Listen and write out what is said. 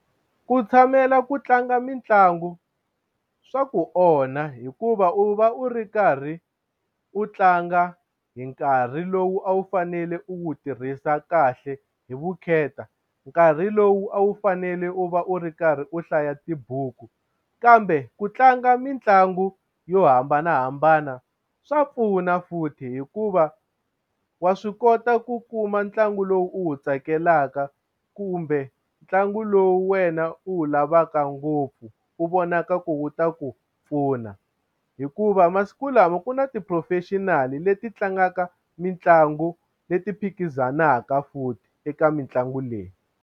Ku tshamela ku tlanga mitlangu swa ku onha hikuva u va u ri karhi u tlanga hi nkarhi lowu a wu fanele u wu tirhisa kahle hi vukheta nkarhi lowu a wu fanele u va u ri karhi u hlaya tibuku kambe u ku tlanga mitlangu yo hambanahambana swa pfuna futhi hikuva wa swi kota ku kuma ntlangu lowu u wu tsakelaka kumbe ntlangu lowu wena u wu lavaka ngopfu wu vonaka ku wu ta ku pfuna hikuva masiku lama ku na ti-professional leti tlangaka mitlangu leyi phikizanaka futhi eka mitlangu leyi.